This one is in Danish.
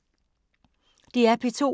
DR P2